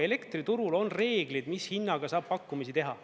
Elektriturul on reeglid, mis hinnaga saab pakkumisi teha.